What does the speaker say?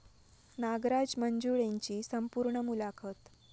नागराज मंजुळेंची संपूर्ण मुलाखत